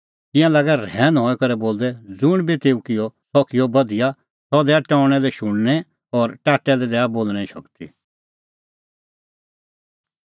तिंयां लागै रहैन हई करै बोलदै ज़ुंण बी तेऊ किअ सह किअ बधिया सह दैआ टौणैं लै शुणने और टाट्टै लै दैआ बोल़णें शगती